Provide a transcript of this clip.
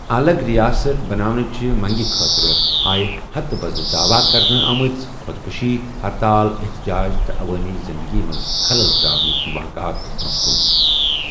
الَگ رِیاست بناونٕچہِ منٛگہِ خٲطرِ آیہ ہتہٕ بزٕ دعوا كرنہٕ آمٕژٕ خودكشی ، ہرتال، احتجاج تہٕ عوٲمی زِندٕگی منٛز خلل تراونٕكہِ واقعیات برونہہ كٗن ۔